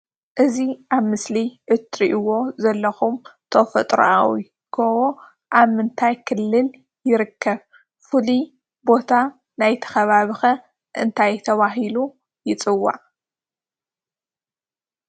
እዚ ኣብ ምስሊ እትርኢዎ ዘለኩም ተፈጥራዊ ጎቦ ኣብ ምንታይ ክልል ይርከብ ፍሉይ ቦታ ናይቲ ከባቢ ከ እንታይ ተባሂሉ ይፅዋዕ?